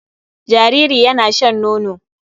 Jariri yana shan nono.